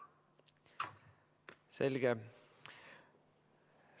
Selge.